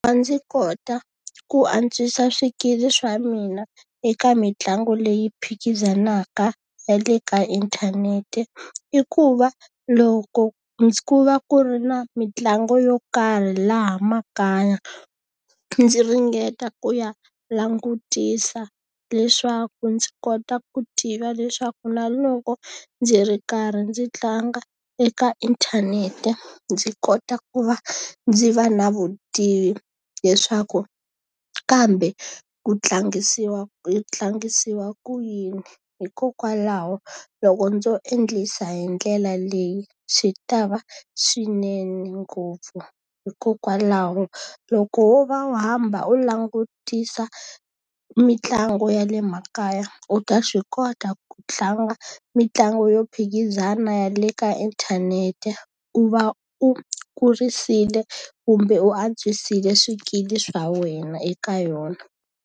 A ndzi kota ku antswisa swikili swa mina eka mitlangu leyi phikizanaka ya le ka inthanete i ku va, loko ku va ku ri na mitlangu yo karhi laha makaya ndzi ringeta ku ya langutisa leswaku ndzi kota ku tiva leswaku na loko ndzi ri karhi ndzi tlanga eka inthanete ndzi kota ku va ndzi va na vutivi, leswaku kambe ku tlangisiwa yi tlangisiwa ku yini. Hikokwalaho loko ndzo endlisa hi ndlela leyi, swi ta va swinene ngopfu. Hikokwalaho loko wo va u hamba u langutisa mitlangu ya le makaya, u ta swi kota ku tlanga mitlangu yo phikizana ya le ka inthanete. U va u kurisile kumbe u antswisile swikili swa wena eka yona.